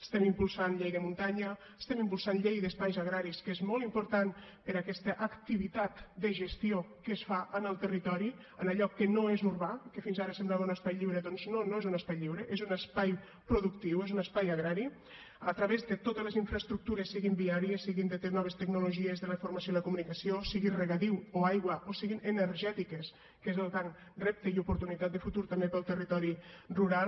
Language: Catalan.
estem impulsant llei de muntanya estem impulsant llei d’espais agraris que és molt important per a aquesta activitat de gestió que es fa en el territori en allò que no és urbà i que fins ara semblava un espai lliure doncs no no és un espai lliure és un espai productiu és un espai agrari a través de totes les infraestructures siguin viàries siguin de noves tecnologies de la informació i la comunicació siguin regadiu o aigua o siguin energètiques que és el gran repte i oportunitat de futur també per al territori rural